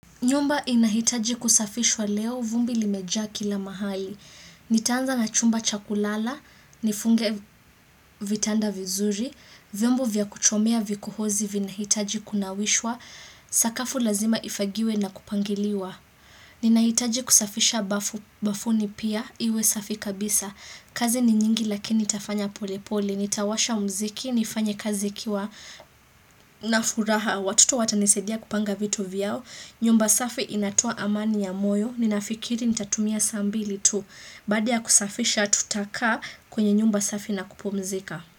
Nyumba inahitaji kusafishwa leo vumbi limeja kila mahali. Nitaanza na chumba chakulala, nifunge vitanda vizuri, vombo vya kuchomea vikuhozi vina hitaji kunawishwa, sakafu lazima ifagiwe na kupangiliwa. Ninahitaji kusafisha bafuni pia, iwe safi kabisa. Kazi ni nyingi lakini tafanya pole pole. Nitawasha mziki, nifanye kazi kiwa na furaha. Watuto watanisedia kupanga vitu vyao. Nyumba safi inatua amani ya moyo, ninafikiri nitatumia saa mbili tu, badia kusafisha tutaka kwenye nyumba safi na kupomzika.